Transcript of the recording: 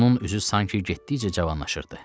Onun üzü sanki getdikcə cavanlaşırdı.